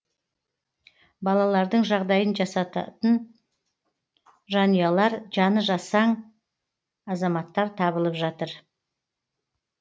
балалардың жағдайын жасатын жанұялар жаны жасаң азаматтар табылып жатыр